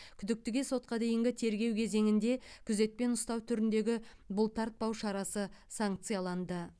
күдіктіге сотқа дейінгі тергеу кезеңінде күзетпен ұстау түріндегі бұлтартпау шарасы санкцияланды